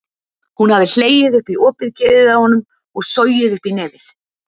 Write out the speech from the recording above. Hún hafði hlegið upp í opið geðið á honum og sogið upp í nefið.